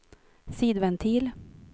sidventil